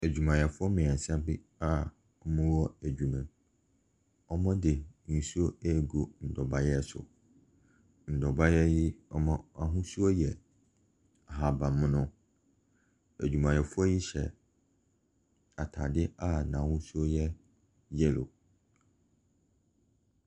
Adwumayɛfoɔ mmiɛnsa bi a ɔwɔ adwuma mu. Ɔde nsuo ɛregu nnobaeɛ so. Nnobaeɛ yi wahosuo yɛ ahaban mono. Adwumayɛfoɔ yi hyɛ ataade a n'ahosuo ɛyɛ yellow.